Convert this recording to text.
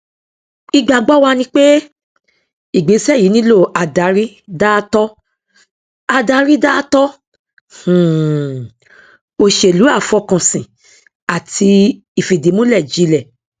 ìgbàgbọ wa ni pé ìgbésẹ yìí nílò adarí dáátọ adarí dáátọ um òṣèlú àfọkànsìn àti ìfìdímúlẹ jilẹ